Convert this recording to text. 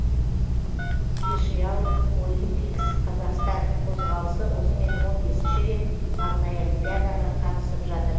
спешиал олимпикс қазақстан қозғалысы осымен он бесінші рет арнайы олимпиадаға қатысып жатыр